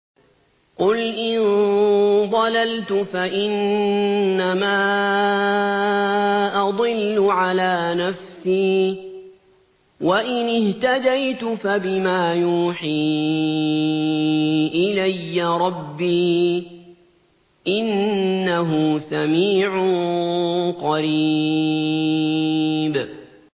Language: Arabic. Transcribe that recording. قُلْ إِن ضَلَلْتُ فَإِنَّمَا أَضِلُّ عَلَىٰ نَفْسِي ۖ وَإِنِ اهْتَدَيْتُ فَبِمَا يُوحِي إِلَيَّ رَبِّي ۚ إِنَّهُ سَمِيعٌ قَرِيبٌ